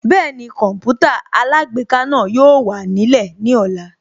Bẹ́ẹ̀ni Kọǹpútà alágbèéká náà yóò wà nílẹ̀ ní ọ̀la